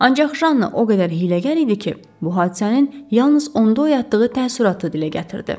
Ancaq Janna o qədər hiyləgər idi ki, bu hadisənin yalnız onda oyatdığı təəssüratı dilə gətirdi.